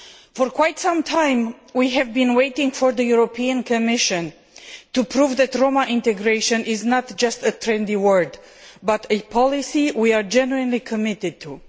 For quite some time we have been waiting for the European Commission to prove that Roma integration is not just a trendy word but a policy we are genuinely committed to.